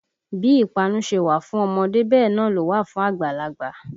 Bí ìpanu ṣe wà fún ọmọdé bẹ́ẹ̀ náà ló wà fún àgbàlagbà